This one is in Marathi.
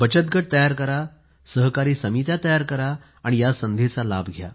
बचत गट तयार करून सहकारी समित्या तयार करून या संधीचा लाभ घ्या